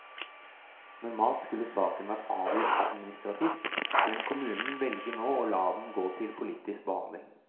Normalt skulle saken vært avgjort administrativt, men kommunen velger nå å la den gå til politisk behandling.